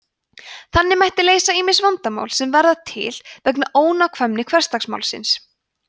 þannig mætti leysa ýmis vandamál sem verða til vegna ónákvæmni hversdagsmálsins